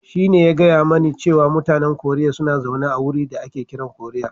Shine ya gaya mani cewa mutanen Koriya suna zaune a wuri da ake kiran Koriya.